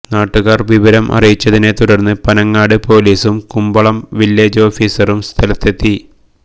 നാട്ടുകാര് വിവരം അറിയിച്ചതിനെത്തുടര്ന്ന് പനങ്ങാട് പോലീസും കുമ്പളം വില്ലേജ് ഓഫീസറും സ്ഥലത്തെത്തി